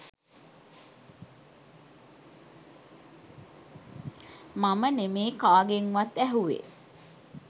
මම නෙමේ කාගෙන්වත් ඇහුව්වෙ.